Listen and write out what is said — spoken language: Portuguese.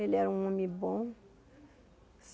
Ele era um homem bom.